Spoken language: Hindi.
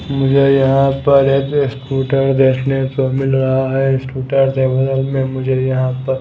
मुझे यहां पर एक स्कूटर देखने को मिल रहा है स्कूटर से मुझे यहां पर--